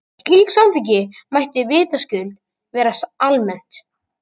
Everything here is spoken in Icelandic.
Slíkt samþykki mætti vitaskuld vera almennt.